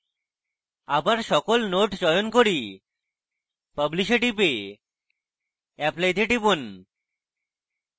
আবার সকল nodes চয়ন করি publish এ টিপে apply তে টিপুন